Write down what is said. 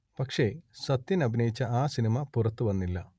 പക്ഷേ സത്യൻ അഭിനയിച്ച ആ സിനിമ പുറത്തുവന്നില്ല